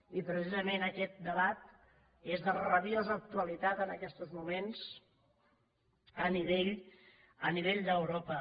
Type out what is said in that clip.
i precisament aquest debat és de rabiosa actualitat en aquestos moments a nivell d’europa